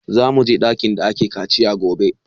Za mu je ɗakin da ake kaciya gobe